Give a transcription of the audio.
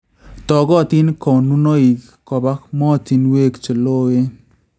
Togotin konunoich koba motinweek cheloowen